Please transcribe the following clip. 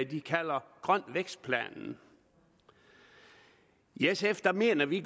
de kalder grøn vækst planen i sf mener vi